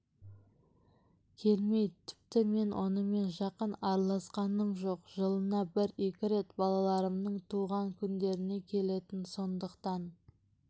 келмейді тіпті мен онымен жақын араласқаным жоқ жылына бір-екі рет балаларымның туған күндеріне келетін сондықтан